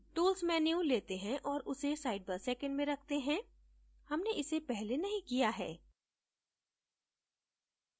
tools menu let हैं औऱ उसे sidebar second में रखते हैं हमने इसे पहले नहीं किया है